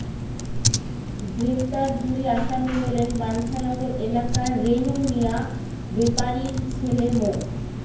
গ্রেপ্তার দুই আসামি হলেন বাঞ্চানগর এলাকার রেনু মিয়া বেপারীর ছেলে মো